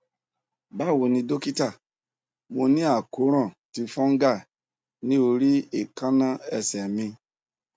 bawo ni dókítà mo ni akoran ti fungal ni ori ekanna ese mì